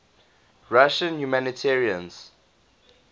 russian humanitarians